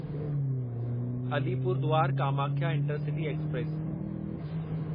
Alipurduar Kamakhya intercity express